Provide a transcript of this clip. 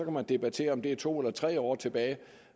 man debattere om det er to eller tre år tilbage